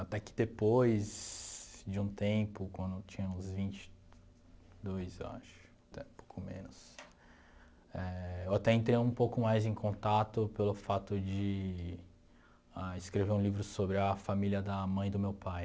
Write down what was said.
Até que depois de um tempo, quando eu tinha uns vinte e dois eu acho, até um pouco menos, eh eu até entrei um pouco mais em contato pelo fato de escrever um livro sobre a família da mãe do meu pai.